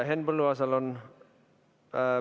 Henn Põlluaasal on ...